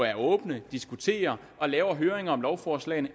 er åbne og diskuterer og laver høringer om lovforslag